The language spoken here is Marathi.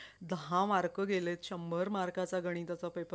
दहा mark गेलेत शंभर मार्कांचा गणिताचा paper नव्वदचं